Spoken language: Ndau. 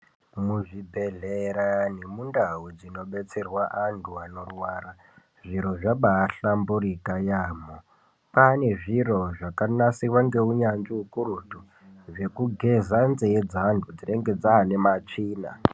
Muzvibhehleya nemundau dzinobetserwa antu anorwara zviro zvabaahklamburika yaamho kwaane zviro zvakanasirwa ngeunyanzvi ukurutu zvekugeza nzee dzeanhu dzinenge dzaane matsvina.